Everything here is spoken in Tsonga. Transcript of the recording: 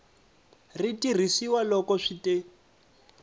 ri tirhisiwa loko swi te